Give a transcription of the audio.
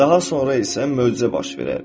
Daha sonra isə möcüzə baş verər.